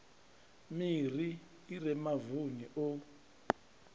miri i re mavuni o